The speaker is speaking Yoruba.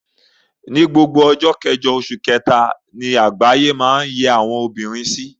Ni gbogbo ọjọ́ kẹjọ oṣù Ẹrẹ̀nà ni àgbáyé máa ń yẹ àwọn obìnrin sí.